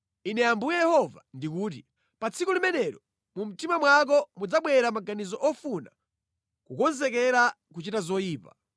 “Ine Ambuye Yehova ndikuti: Pa tsiku limenelo mu mtima mwako mudzabwera maganizo ofuna kukonzekera kuchita zoyipa.